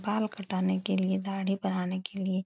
बाल कटाने के लियेदाढ़ी बनाने के लिये --